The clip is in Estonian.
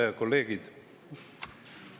Head kolleegid!